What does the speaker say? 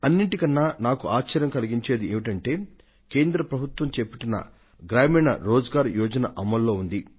అన్నింటికన్నా నాకు ఆశ్చర్యం కలిగించేది ఏమిటంటే కేంద్ర ప్రభుత్వం చేపట్టిన గ్రామీణ రోజ్ గార్ యోజన అమల్లో ఉంది